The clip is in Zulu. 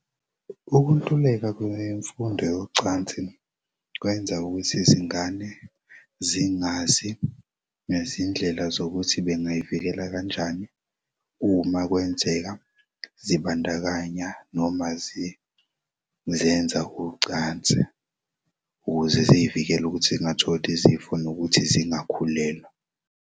Ukuntuleka kwemfundo yocansi kwenza ukuthi izingane zingazi ngezindlela zokuthi bengazivikela kanjani umakwenzeka zibandakanya noma zizenza ucansi ukuze ziy'vikele ukuthi zingatholi izifo nokuthi zingakhulelwa.